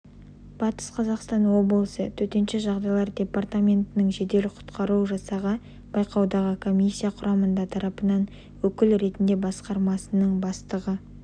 батыс қазақстан облысы төтенше жағдайлар департаментінің жедел-құтқару жасағы байқаудағы комиссия құрамында тарапынан өкіл ретінде басқармасының бастығы